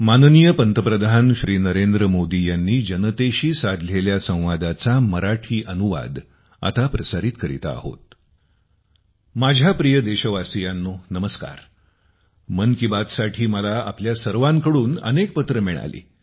माझ्या प्रिय देशवासियांनो नमस्कार मन की बातसाठी मला आपल्या सर्वांकडून अनेक पत्रे मिळाली